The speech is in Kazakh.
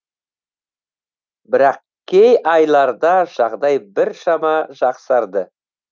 бірақ кей айларда жағдай біршама жақсарды